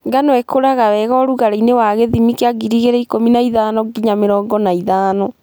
ngano ĩkũraga wega ũrugarĩinĩ wa gĩthimi kĩa gigirii ikũmi na ithano ngiya mĩrongo na ithano.